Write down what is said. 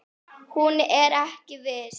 Hún er ekki viss.